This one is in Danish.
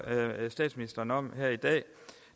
statsministeren om her i dag